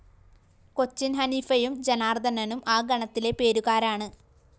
കൊച്ചിന്‍ഹനീഫയും ജനാര്‍ദ്ദനനും ആ ഗണത്തിലെ പേരുകാരാണ്